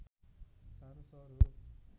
सानो सहर हो